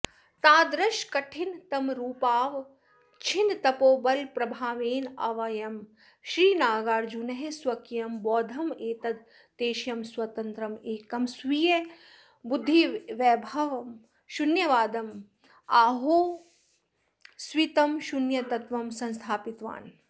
तादृशकठिन तमरूपावच्छिन्नतपोबलप्रभावेनैवाऽयं श्रीनागार्जुनः स्वकीयं बौद्धमतैकदेशीयं स्वतन्त्रमेकं स्वीयबुद्धिवैभवं शून्यवादम् आहोस्वित् शून्यतत्त्वं संस्थापितवान्